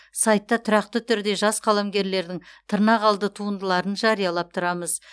сайтта тұрақты түрде жас қаламгерлердің тырнақалды туындыларын жариялап тұрамыз